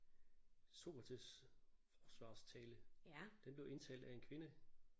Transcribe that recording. Sokrates' forsvarstale. Den blev indtalt af en kvinde